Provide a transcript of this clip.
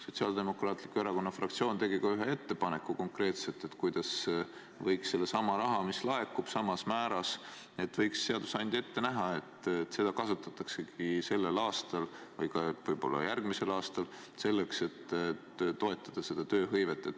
Sotsiaaldemokraatliku Erakonna fraktsioon tegi ka ühe konkreetse ettepaneku, et seadusandja võiks ette näha, et sedasama raha, mis laekub samas määras, kasutatakski sellel aastal, aga võib-olla ka järgmisel aastal selleks, et toetada tööhõivet.